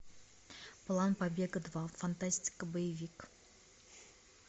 план побега два фантастика боевик